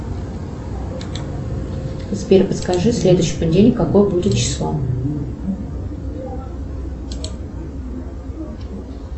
сбер подскажи следующий понедельник какое будет число